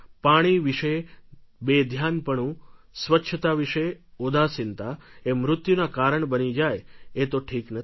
પાણી વિશે બેધ્યાનપણું સ્વચ્છતા વિશે ઉદાસીનતા એ મૃત્યુનાં કારણ બની જાય એ તો ઠીક નથી